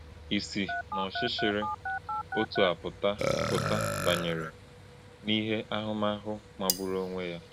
Isi n’ọchịchịrị dị otu a pụta pụta banye n’ìhè bụ ahụmahụ magburu onwe ya.